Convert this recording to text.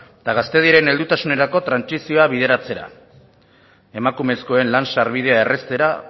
eta gaztediaren heldutasunerako trantsizioa bideratzera emakumezkoen lan sarbidea erraztera